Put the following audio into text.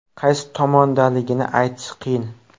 Qaysi tomongaligini aytish qiyin.